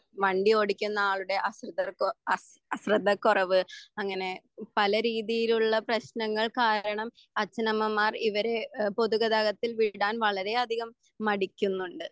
വണ്ടി ഓടിക്കുന്ന ആളുടെ അശിർധത്വം അശ് അശ്രദ്ധ കുറവ് അങ്ങനെ പല രീതിയിലുള്ള പ്രേശ്നങ്ങൾ കാരണം അച്ഛനമ്മമാർ ഇവരെ എഹ് പൊതുഗതാഗത്തിൽ വിടാൻ വളരെ അധികം മടിക്കുന്നുണ്ട്.